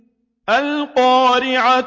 الْقَارِعَةُ